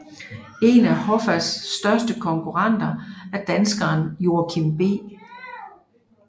En af Hoffas største konkurrenter er danskeren Joachim B